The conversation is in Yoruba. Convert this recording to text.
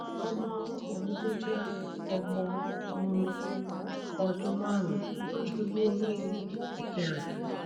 ọmọ ọmọ mi tó jẹ ọmọ um ọdún márùn ún ṣubú ori eke rẹ